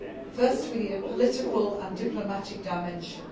Firstly, we need a political and diplomatic dimension.